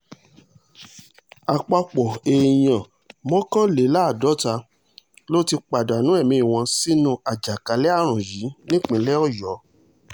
àpapọ̀ èèyàn mọ́kànléláàádọ́ta ló ti pàdánù ẹ̀mí wọn sínú àjàkálẹ̀ àrùn yìí nípínlẹ̀ ọ̀yọ́